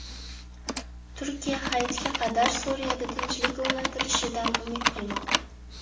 Turkiya Hayitga qadar Suriyada tinchlik o‘rnatilishidan umid qilmoqda.